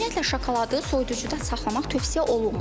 Ümumiyyətlə şokoladı soyuducuda saxlamaq tövsiyə olunmur.